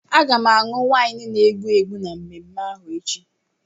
Aga m aṅụ waịnu na-egbu egbu na mmemme ahụ echi.